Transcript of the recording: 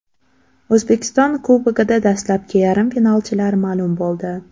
O‘zbekiston Kubogida dastlabki yarim finalchilar ma’lum bo‘ldi.